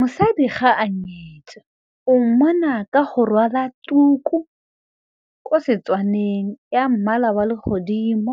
Mosadi ga a nyetswe o mmona ka go rwala tuku kwa seTswaneng ya mmala wa legodimo,